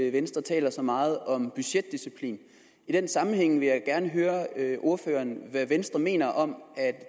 at venstre taler så meget om budgetdisciplin i den sammenhæng vil jeg gerne høre ordføreren hvad venstre mener om at